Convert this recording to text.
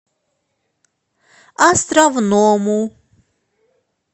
островному